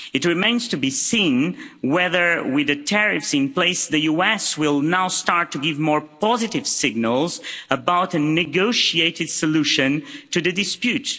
It remains to be seen whether, with the tariffs in place, the US will now start to give more positive signals about a negotiated solution to the dispute.